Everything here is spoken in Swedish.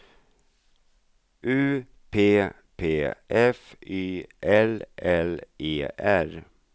U P P F Y L L E R